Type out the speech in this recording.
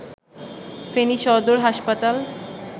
ফেনী সদর হাসপাতাল